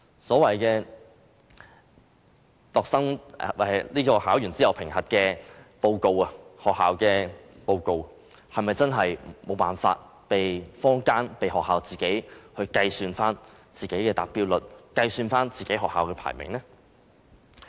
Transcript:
所謂考試後的學校報告，是否真的無法被坊間或被學校自行計算其達標率，計算學校的排名呢？